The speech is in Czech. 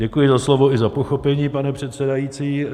Děkuji za slovo i za pochopení, pane předsedající.